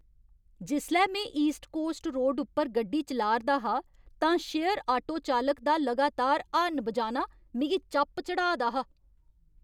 जिसलै में east coast road उप्पर गड्डी चलाऽ 'रदा हा तां शेयर आटो चालक दा लगातार हार्न बजाना मिगी चप चढ़ाऽ दा हा।